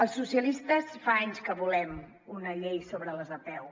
els socialistes fa anys que volem una llei sobre les apeu